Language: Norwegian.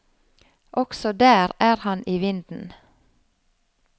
Også der er han i vinden.